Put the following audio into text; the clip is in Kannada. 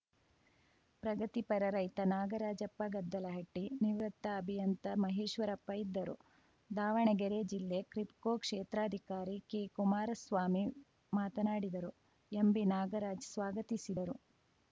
ಪ್ರಗತಿ ಪರ ರೈತ ನಾಗರಾಜಪ್ಪ ಗೆದ್ದಲಹಟ್ಟಿ ನಿವೃತ್ತ ಅಭಿಯಂತ ಮಹೇಶ್ವರಪ್ಪ ಇದ್ದರು ದಾವಣಗೆರೆ ಜಿಲ್ಲೆ ಕ್ರಿಬ್ಕೋ ಕ್ಷೇತ್ರ ಅಧಿಕಾರಿ ಕೆಕುಮಾರಸ್ವಾಮಿ ಮಾತನಾಡಿದರು ಎಂಬಿನಾಗರಾಜ್‌ ಸ್ವಾಗತಿಸಿದರು